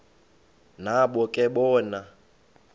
nabo ke bona